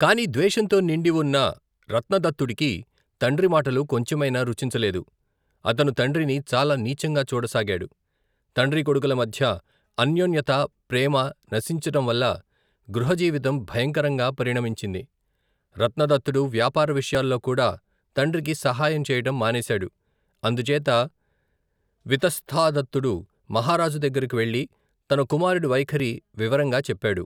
కాని ద్వేషంతో నిండివున్న రత్నదత్తుడికి తండ్రి మాటలు కొంచెమైనా రుచించలేదు అతను తండ్రిని, చాలా నీచంగా చూడసాగాడు తండ్రీకొడుకులమధ్య అన్యోన్యతా ప్రేమా నశించటంవల్ల గృహజీవితం భయంకరంగా పరిణమించింది రత్నదత్తుడు వ్యాపార విషయాల్లో కూడా తండ్రికి సహాయం చేయటం మానేశాడు అందుచేత వితస్తాదత్తుడు మహారాజు దగ్గెరెకు వెళ్ళి తన కుమారుడి వైఖరి వివరంగా చెప్పాడు.